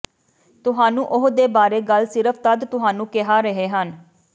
ਤੁਹਾਨੂੰ ਉਹ ਦੇ ਬਾਰੇ ਗੱਲ ਸਿਰਫ ਜਦ ਤੁਹਾਨੂੰ ਕਿਹਾ ਰਹੇ ਹਨ